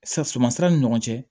Sa sumansira ni ɲɔgɔn cɛ